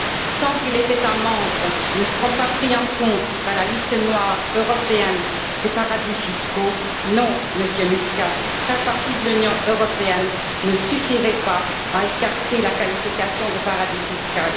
Tant que les États membres ne seront pas pris en compte dans la liste noire européenne des paradis fiscaux, non, Monsieur Muscat, faire partie de l'Union européenne ne suffira pas à écarter la qualification de paradis fiscal.